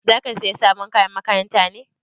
Zaka saya sabon kayan makaranta ne?